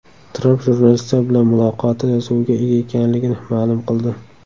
Tramp jurnalistlar bilan muloqoti yozuviga ega ekanligini ma’lum qildi.